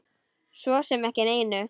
Svo sem ekki neinu.